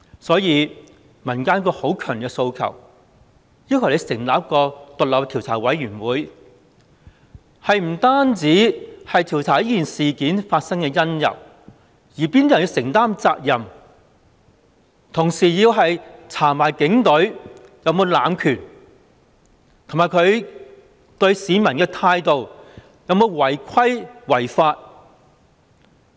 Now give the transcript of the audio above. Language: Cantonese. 所以，民間有一個很強烈的訴求，要求成立一個獨立調查委員會。不但要調查這事件發生的因由及由哪些人去承擔責任，同時亦要調查警隊有否濫權，以及它對市民的態度有否違規違法？